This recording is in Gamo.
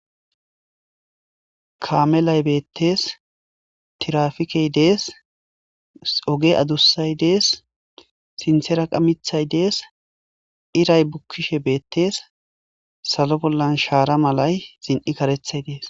Kaamelay beettes tirrafikey de'es oge adussay de'es sinthera qa miththy de'es iray bukkishe beettes salo bollan shaara malay zin'i karethay de'es.